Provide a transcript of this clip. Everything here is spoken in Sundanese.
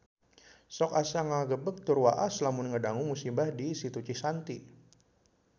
Sok asa ngagebeg tur waas lamun ngadangu musibah di Situ Cisanti